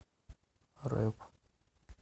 рэп